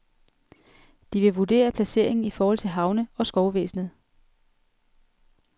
De vil vurdere placeringen i forhold til havne, og skovvæsenet.